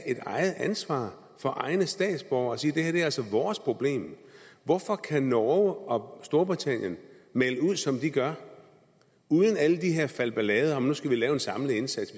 et eget ansvar for egne statsborgere og sige at det her altså er vores problem hvorfor kan norge og storbritannien melde ud som de gør uden alle de her falbelader om at nu skal vi lave en samlet indsats